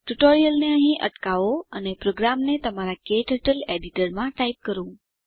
ટ્યુટોરીયલને અહીં અટકાવો અને પ્રોગ્રામને તમારા ક્ટર્ટલ એડીટરમાં ટાઈપ કરો